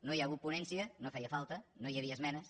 no hi ha hagut ponència no feia falta no hi havia es·menes